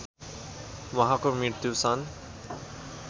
उहाँको मृत्यु सन्